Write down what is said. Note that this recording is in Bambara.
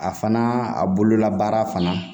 A fana a bololabaara fana